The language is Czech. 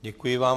Děkuji vám.